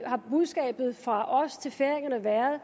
har budskabet fra os til færingerne været at